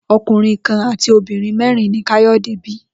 O̩kùnrin kan àti obìnrin mé̩rin ni Káyò̩dé bi